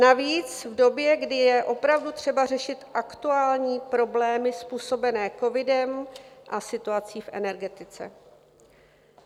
Navíc v době, kdy je opravdu třeba řešit aktuální problémy způsobené covidem a situací v energetice.